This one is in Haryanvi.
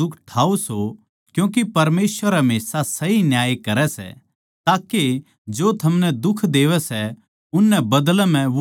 क्यूँके परमेसवर हमेशा सही न्याय करै सै ताके जो थमनै दुख देवैं सै उननै बदलै म्ह वो दुख देवै